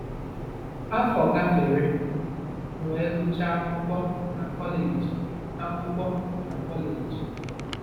Afọ gafere, m wee gụchaa akwụkwọ na kọleji akwụkwọ na kọleji.